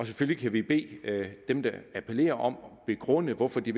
selvfølgelig bede dem der appellerer om at begrunde hvorfor de